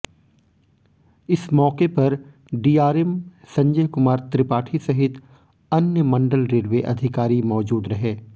इस मौके पर डीआरएम संजय कुमार त्रिपाठी सहित अन्य मंडल रेलवे अधिकारी मौजूद रहें